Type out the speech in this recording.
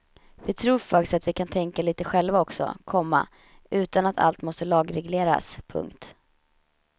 Vi tror faktiskt att vi kan tänka lite själva också, komma utan att allt måste lagregleras. punkt